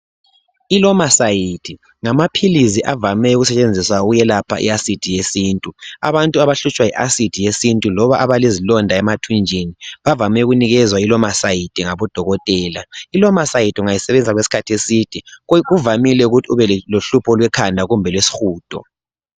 ILomacide ngamaphilizi avame ukusetshenziswa ukwelapha i acid yesintu. Abantu abahlutshwa yi acid yesintu loba abalezilonda emathunjini bavame ukunikezwa iLomacide ngabodokotela. ILomacide ungayisebenzisa okwesikhathi eside kuvamile ukuthi ube lohlupho lwekhanda kumbe lwesihudo